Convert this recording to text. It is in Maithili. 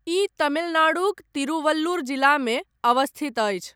ई तमिलनाडुक तिरुवल्लुर जिलामे अवस्थित अछि।